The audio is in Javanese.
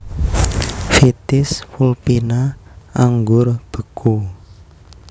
Vitis vulpina Anggur beku